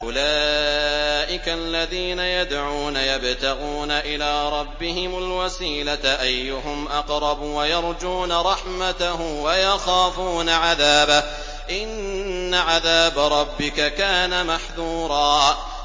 أُولَٰئِكَ الَّذِينَ يَدْعُونَ يَبْتَغُونَ إِلَىٰ رَبِّهِمُ الْوَسِيلَةَ أَيُّهُمْ أَقْرَبُ وَيَرْجُونَ رَحْمَتَهُ وَيَخَافُونَ عَذَابَهُ ۚ إِنَّ عَذَابَ رَبِّكَ كَانَ مَحْذُورًا